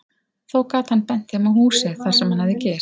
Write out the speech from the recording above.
Þó gat hann bent þeim á húsið, þar sem hann hafði gist.